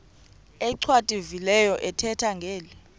achwavitilevo ethetha ngeli